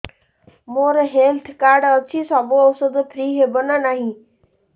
ମୋର health card ଅଛି ସବୁ ଔଷଧ ଫ୍ରି ହବ ନା ନାହିଁ